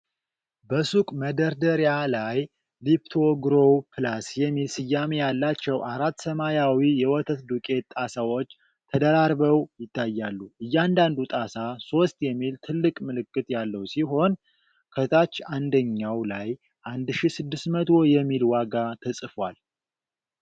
በሱቅ መደርደሪያ ላይ “ሊፕቶግሮው ፕላስ” የሚል ስያሜ ያላቸው አራት ሰማያዊ የወተት ዱቄት ጣሳዎች ተደራርበው ይታያሉ። እያንዳንዱ ጣሳ “3” የሚል ትልቅ ምልክት ያለው ሲሆን፤ ከታች አንደኛው ላይ “1600” የሚል ዋጋ ተጽፏል።